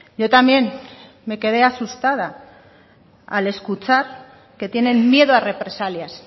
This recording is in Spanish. yo también me quedé asustada al escuchar que tienen miedo a represalias